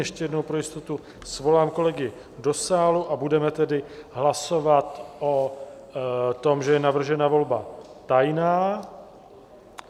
Ještě jednou pro jistotu svolám kolegy do sálu a budeme tedy hlasovat o tom, že je navržena volba tajná.